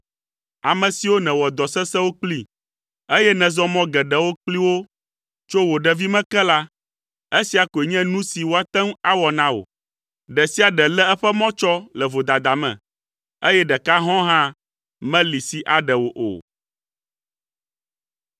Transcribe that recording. Ame siwo nèwɔ dɔ sesẽwo kpli, eye nèzɔ mɔ geɖewo kpli wo tso wò ɖevime ke la, esia koe nye nu si woate ŋu awɔ na wò. Ɖe sia ɖe lé eƒe mɔ tsɔ le vodada me, eye ɖeka hɔ̃ɔ hã meli si aɖe wò o.”